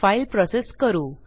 file process करू